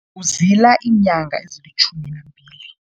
Uzila iinyanga ezilitjhumi nambili.